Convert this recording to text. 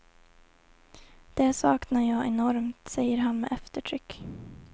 Det saknar jag enormt, säger han med eftertryck.